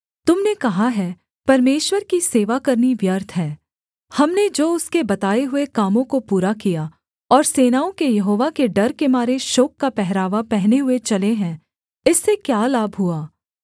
तुम ने कहा है परमेश्वर की सेवा करनी व्यर्थ है हमने जो उसके बताए हुए कामों को पूरा किया और सेनाओं के यहोवा के डर के मारे शोक का पहरावा पहने हुए चले हैं इससे क्या लाभ हुआ